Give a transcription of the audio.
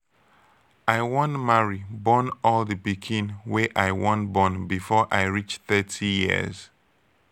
i wan marry born all di pikin wey i wan born before i reach thirty years.